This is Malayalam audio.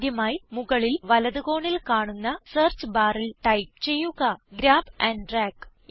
ആദ്യമായി മുകളിൽ വലത് കോണിൽ കാണുന്ന സെർച്ച് ബാറിൽ ടൈപ്പ് ചെയ്യുക ഗ്രാബ് ആൻഡ് ഡ്രാഗ്